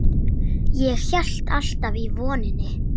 Ég hélt alltaf í vonina.